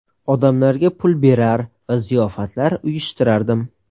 Odamlarga pul berar va ziyofatlar uyushtirardim.